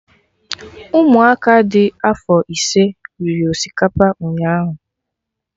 Ụmụ aka dị afọ ise riri osikapa ụnyaahụ